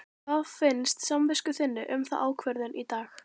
Hvað finnst samvisku þinni um þá ákvörðun í dag?